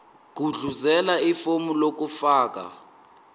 gudluzela ifomu lokufaka